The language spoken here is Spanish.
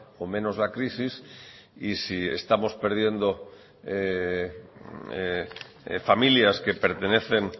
o menos la crisis y si estamos perdiendo familias que pertenecen